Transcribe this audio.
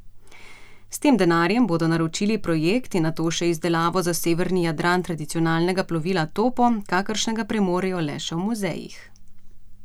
S tem denarjem bodo naročili projekt in nato še izdelavo za severni Jadran tradicionalnega plovila topo, kakršnega premorejo le še v muzejih.